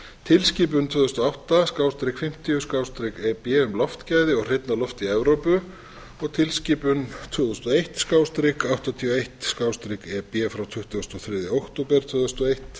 tilskipun tvö þúsund og átta fimmtíu e b um loftgæði og hreinna loft í evrópu og tilskipun tvö þúsund og eitt áttatíu og eitt